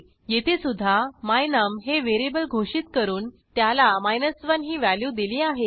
येथे सुद्धा my num हे व्हेरिएबल घोषित करून त्याला 1 ही व्हॅल्यू दिली आहे